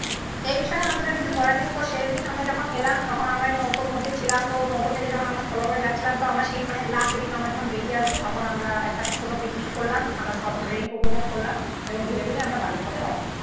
এন্ডটা, আদেরকে বলার নেই তো শেষ দিন আমরা যখন এলাম তো তখন আমরা নৌকোর মধ্যেই ছিলাম তো নৌকো করে যখন আমরা স্থলভাবে যাচ্ছিলাম মানে লাস্ট দিন আমরা যখন বেরিয়ে আসবো তখন আমরা একটা ছোটো পিকনিক করলাম আমরা আমরা সফট ড্রিঙ্ক করলাম এবং ধীরে ধীরে আমরা বাড়ির পথে রউনা দিলাম।